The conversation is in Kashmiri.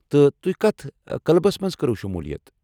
تہٕ تۄہہِ کتھ کٕلبس منز كروٕ شمُولیت ؟